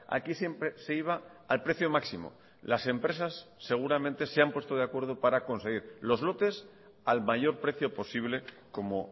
aquí siempre se iba al precio máximo las empresas seguramente se han puesto de acuerdo para conseguir los lotes al mayor precio posible como